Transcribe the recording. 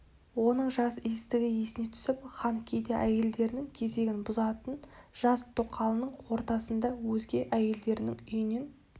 оның жас иістігі есіне түсіп хан кейде әйелдерінің кезегін бұзатын жас тоқалының ордасында өзге әйелдерінің үйінен